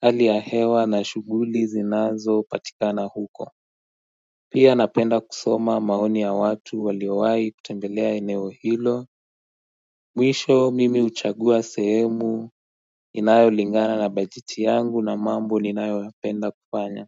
hali ya hewa na shughuli zinazopatikana huko Pia napenda kusoma maoni ya watu waliowahi kutembelea eneo hilo Mwisho mimi huchagua sehemu inayolingana na baeiti yangu na mambo ninayoyapenda kufanya.